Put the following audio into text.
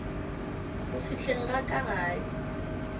go fihleng ga ka gae